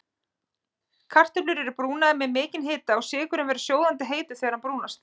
Kartöflur eru brúnaðar við mikinn hita og sykurinn verður sjóðandi heitur þegar hann brúnast.